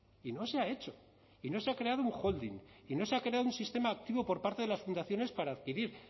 y no se ha hecho y no se ha creado un holding y no se ha creado un sistema activo por parte de las fundaciones para adquirir